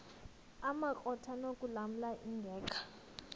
amakrot anokulamla ingeka